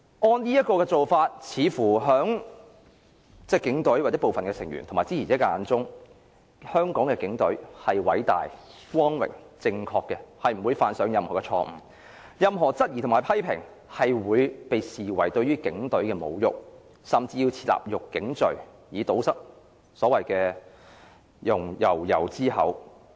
按這種做法，在警隊或部分成員及支持者的眼中，香港警隊似乎是偉大、光榮、正確的，不會犯上任何錯誤，任何質疑和批評會被視為對於警隊的侮辱，甚至要設立辱警罪，以堵塞悠悠之口。